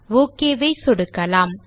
okay ஐ சொடுக்கலாம்